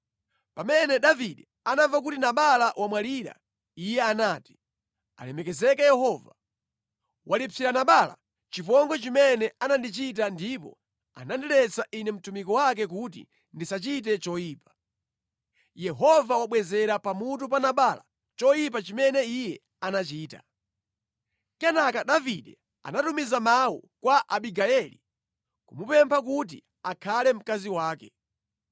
Pamene Davide anamva kuti Nabala wamwalira, iye anati, “Alemekezeke Yehova, walipsira Nabala chipongwe chimene anandichita ndipo anandiletsa ine mtumiki wake kuti ndisachite choyipa. Yehova wabwezera pamutu pa Nabala choyipa chimene iye anachita.” Kenaka Davide anatumiza mawu kwa Abigayeli, kumupempha kuti akhale mkazi wake.